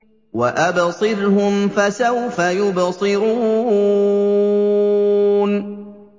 وَأَبْصِرْهُمْ فَسَوْفَ يُبْصِرُونَ